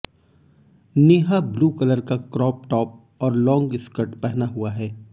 Neha blue colour का crop top और long skirt पहना हुआ हैं